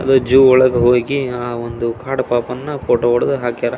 Zoo ಒಳಗೆ ಹೋಗಿ ಆ ಒಂದು ಕಾಡು ಪಾಪನಾ ಫೋಟೋ ಒಡೆದು ಹಾಕಾರ.